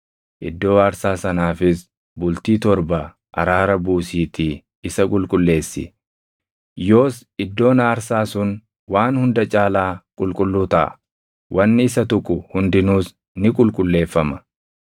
Iddoo aarsaa sanaafis bultii torba araara buusiitii isa qulqulleessi. Yoos iddoon aarsaa sun waan hunda caalaa qulqulluu taʼa; wanni isa tuqu hundinuus ni qulqulleeffama.